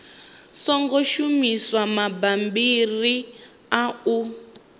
songo shumisa mabammbiri a u